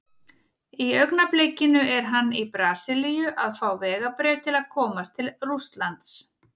Í augnablikinu er hann í Brasilíu að fá vegabréf til að komast til Rússlands.